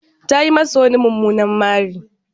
Ta yi masa wani mumunar mari.